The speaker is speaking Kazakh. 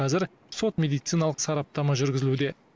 қазір сот медициналық сараптама жүргізілуде